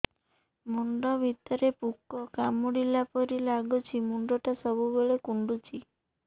ମୁଣ୍ଡ ଭିତରେ ପୁକ କାମୁଡ଼ିଲା ପରି ଲାଗୁଛି ମୁଣ୍ଡ ଟା ସବୁବେଳେ କୁଣ୍ଡୁଚି